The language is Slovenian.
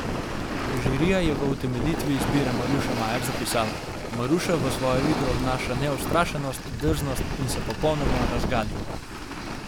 Žirija je v utemeljitvi izbire Maruše Majer zapisala: 'Maruša v svojo igro vnaša neustrašnost, drznost in se popolnoma razgali.